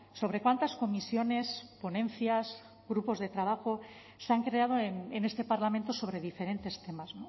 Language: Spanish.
sobre cuántas comisiones ponencias grupos de trabajo se han creado en este parlamento sobre diferentes temas